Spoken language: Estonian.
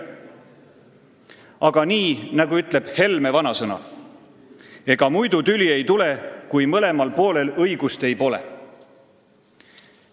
Aga nii nagu ütleb Helme vanasõna: "Ega muidu tüli ei tule, kui mõlemal poolel õigus ei ole.